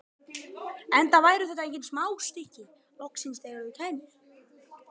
Enda væru þetta engin smá stykki, loksins þegar þau kæmu.